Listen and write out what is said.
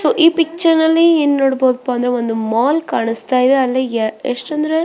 so ಈ picture ಅಲ್ಲಿ ಏನ್ ನೋಡಬೋದಪ್ಪ ಅಂದ್ರೆ ಒಂದ್ ಮಾಲ್ ಕಾಣಿಸ್ತಾ ಇದೆ ಅಲ್ಲಿ ಎಸ್ಟ್ ಅಂದ್ರೆ --